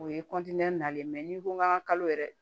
O ye nalen ni ko k'an ka kalo yɛrɛ